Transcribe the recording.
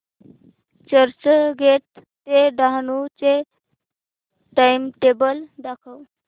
चर्चगेट ते डहाणू चे टाइमटेबल दाखव